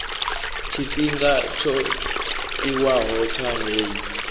tshifhinga tsho tiwaho tsha heyi